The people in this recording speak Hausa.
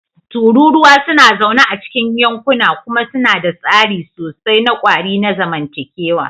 Tururuwa suna zaune a cikin yankuna kuma suna da tsari sosai na ƙwari na zamantakewa.